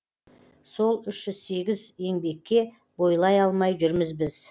сол үш жүз сегіз еңбекке бойлай алмай жүрміз біз